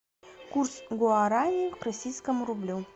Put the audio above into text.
курс гуарани к российскому рублю